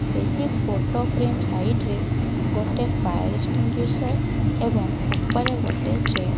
ସେହି photo frame side ରେ ଗୋଟେ ଏବଂ ଉପରେ ଗୋଟେ ଚେୟାର --